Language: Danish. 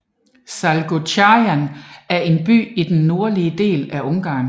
Salgótarján er en by i den nordlige del af Ungarn